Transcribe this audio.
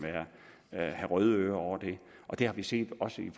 have røde ører over det det har vi set også i